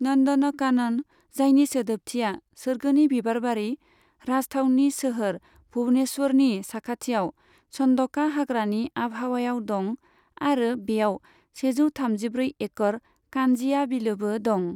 नन्दनकानन, जायनि सोदोबथिया सोरगोनि बिबारबारि, राजथावनि सोहोर भुवनेश्वरनि साखाथियाव, चन्दका हाग्रानि आबहावायाव दं, आरो बेयाव सेजौ थामजिब्रै एकड़ कान्जिया बिलोबो दं।